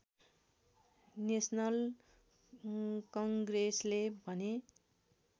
national कङ्ग्रेसले भने